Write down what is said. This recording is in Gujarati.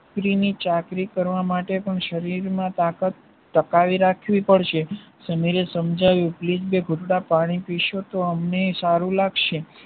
દીકરીની ચાકરી કરવા માટે પણ શરીરમાં તાકાત ટકાવી રાખવી પડશે સમીરે સમજાવ્યું please બે ઘુંટડા પાણી પીશો તો અમનેય સારું લાગશે